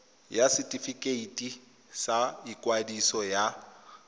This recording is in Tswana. ya setefikeiti sa ikwadiso ya